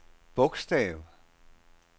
bogstav